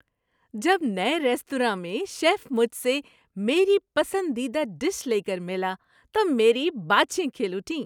جب نئے ریستوراں میں شیف مجھ سے میری پسندیدہ ڈش لے کر ملا تو میری باچھیں کھل اٹھیں۔